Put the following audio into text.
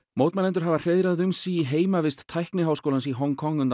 mótmælendur hafa hreiðrað um sig í heimavist Tækniháskólans í Hong Kong